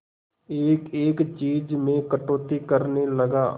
एक एक चीज में कटौती करने लगा